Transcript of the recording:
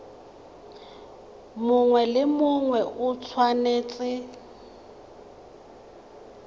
mongwe le mongwe o tshwanetse